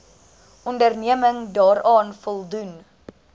onderneming daaraan voldoen